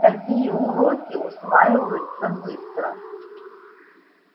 такие уроки усваиваются быстро